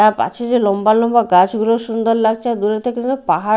তার পাশে যে লম্বা লম্বা গাছগুলো সুন্দর লাগছে আর দূরে পাহাড়--